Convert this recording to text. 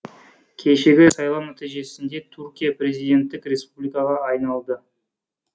кешегі сайлау нәтижесінде түркия президенттік республикаға айналды